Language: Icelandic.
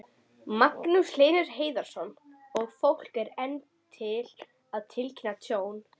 Magnús Hlynur Hreiðarsson: Og fólk er enn að tilkynna tjón?